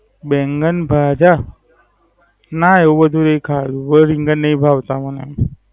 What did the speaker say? બેંગનભાજા. ના એવું બધું એ ખાયું. હવે રીંગણ નાઈ ભાવતા મને.